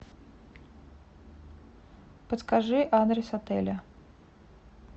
подскажи адрес отеля